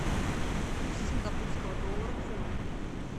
курс сингапурского доллара к фунту